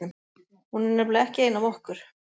Hún er nefnilega ekki ein af okkur.